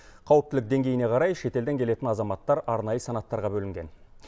қауіптілік деңгейіне қарай шетелден келетін азаматтар арнайы санаттарға бөлінген